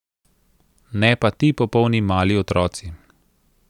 Ne pa ti popolni mali otroci.